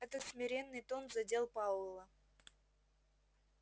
этот смиренный тон задел пауэлла